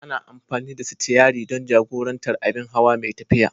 Ana amfani da sitiyari don jagorantar abin hawa mai tafiya.